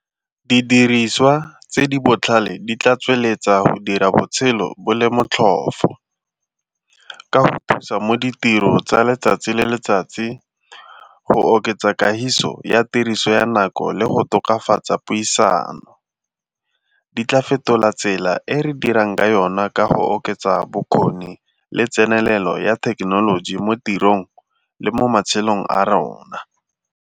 Didiriswa tse di botlhale di tla tsweletsa go dira botshelo bo le botlhofo ka go thusa mo ditiro tsa letsatsi le letsatsi, go oketsa kagiso ya tiriso ya nako le go tokafatsa puisano. Di tla fetola tsela e re dirang ka yona ka go oketsa bokgoni le tsenelelo ya thekenoloji mo tirong le mo matshelong a rona.